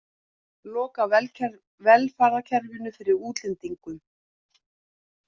Loka velferðarkerfinu fyrir útlendingum